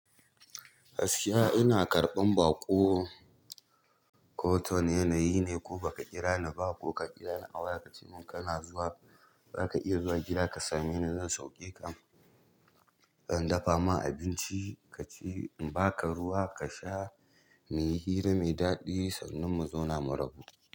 Gaskiya ina karɓan baƙo. Ko ta wa ne, na yi ne ko ba ka kira ni ba ko ka kira ni a waya ka ce mun kana zuwa, zaka iya zuwa gida ka same ni. Zan sauke zan dafa ma abinci kaci na baka ruwa kasha muyi hira mai daɗi sannan mu zauna mu rabu.